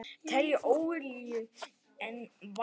Telja olíu enn vætla